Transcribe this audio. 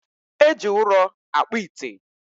e ji ụrọ akpụ ite.